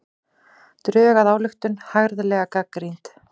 Drög að ályktun harðlega gagnrýnd